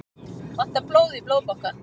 Vantar blóð í Blóðbankann